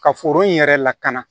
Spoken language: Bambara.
Ka foro in yɛrɛ lakana